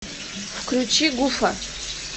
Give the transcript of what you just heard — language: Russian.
включи гуфа